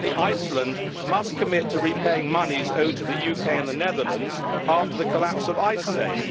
Finally, Iceland must commit to repaying monies owed to the UK and the Netherlands after the collapse of Icesave.